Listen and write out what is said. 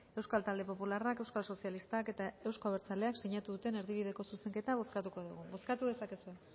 euskal talde popularrak euskal sozialistak eta euzko abertzaleak sinatu duten erdibideko zuzenketa bozkatuko dugu bozkatu dezakezue